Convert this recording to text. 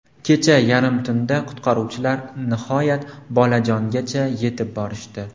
Kecha yarim tunda qutqaruvchilar nihoyat bolajongacha yetib borishdi.